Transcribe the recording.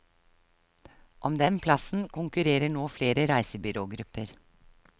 Om den plassen konkurrerer nå flere reisebyrågrupper.